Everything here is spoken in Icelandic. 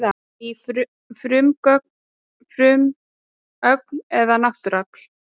Ný frumögn eða náttúruafl